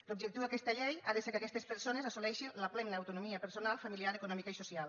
l’objectiu d’aquesta llei ha de ser que aquestes persones assoleixin la plena autonomia personal familiar econòmica i social